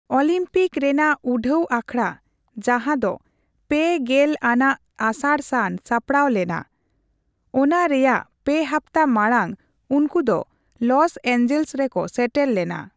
Olympic ᱨᱮᱱᱟᱜ ᱩᱰᱷᱟᱹᱣ ᱟᱠᱷᱲᱟ ᱡᱟᱸᱦᱟ ᱫᱚ ᱓᱐ ᱟᱱᱟᱜ ᱟᱥᱟᱲᱼᱥᱟᱱ ᱥᱟᱯᱲᱟᱣ ᱞᱮᱱᱟ, ᱚᱱᱟ ᱨᱭᱟᱜ ᱯᱮ ᱦᱟᱯᱛᱟ ᱢᱟᱬᱟᱝ ᱩᱱᱠᱩ ᱫᱚ ᱞᱚᱥ ᱮᱧᱡᱮᱞᱥ ᱨᱮᱠᱚ ᱥᱮᱴᱮᱨ ᱞᱮᱱᱟ ᱾